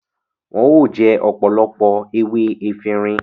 Wọn o jẹ ọpọlọpọ ewé Efirin